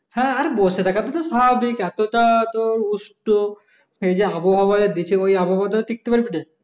হ্যাঁ আর বসে থাকা তুই তো স্বাভাবিক এতো টা তো উষ্ঠ সেই যে আবহাওয়া দেছে ওই আবহাওয়া টিকতে পারবি রে